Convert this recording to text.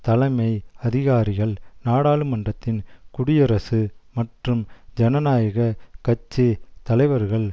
தலைமை அதிகாரிகள் நாடாளுமன்றத்தின் குடியரசு மற்றும் ஜனநாயக கட்சி தலைவர்கள்